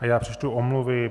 A já přečtu omluvy.